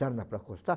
Sarna para coçar.